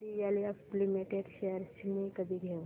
DLF limited shares मी कधी घेऊ